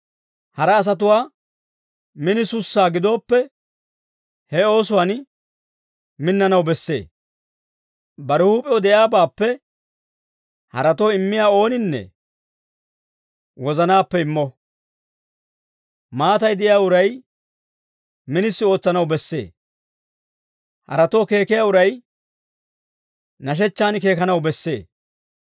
Hara asatuwaa minisussaa gidooppe, he oosuwaan minnanaw bessee. Bare huup'ew de'iyaabaappe haratoo immiyaa ooninne wozanaappe immo. Maatay de'iyaa uray minisi ootsanaw bessee; haratoo keekiyaa uray nashechchaan keekanaw bessee.